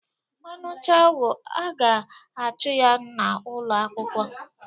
Ọ nucha ogu, a ga-achụ ya na'ulọ akwụkwọ.